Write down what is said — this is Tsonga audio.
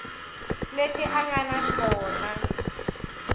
leti a nga na tona